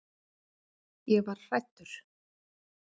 Ég var hræddur.